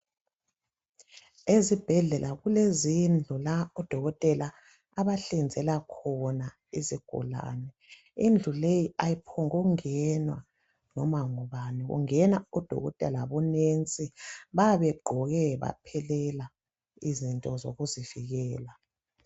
Ezibhedlela kulezindlu la odokotela abahlinzela khona izigulane. Indlu leyi ayiphombu kungenwa noma ngubani, kungena odokotela labo nesi bayabe gqoke baphelela izinto zokuzivikela.